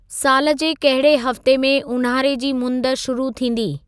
साल जे कहिड़े हफ़्ते में ऊन्हारे जी मुंद शुरू थींदी